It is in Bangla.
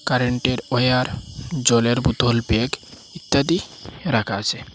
কারেন্টের ওয়ার জলের বোতল বেগ ইত্যাদি রাখা আছে।